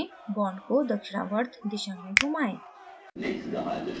bond को दक्षिणावर्त दिशा में घुमाएं